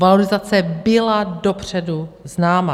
Valorizace byla dopředu známa.